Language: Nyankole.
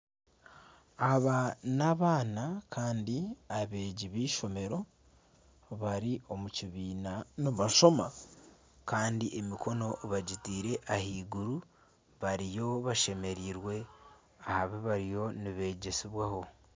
Aba n'abaana kandi abeegi b'eishomero, bari omu kibiina nibashoma kandi emikono bagitiire ahaiguru bariyo bashemereirwe aha bi bariyo nibeegyesibwaho